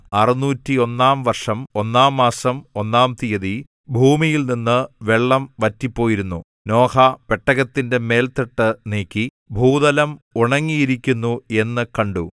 ആറുനൂറ്റൊന്നാം വർഷം ഒന്നാം മാസം ഒന്നാം തീയതി ഭൂമിയിൽനിന്ന് വെള്ളം വറ്റിപ്പോയിരുന്നു നോഹ പെട്ടകത്തിന്റെ മേൽത്തട്ട് നീക്കി ഭൂതലം ഉണങ്ങിയിരിക്കുന്നു എന്ന് കണ്ടു